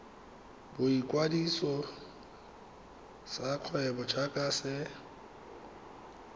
boikwadiso sa kgwebo jaaka se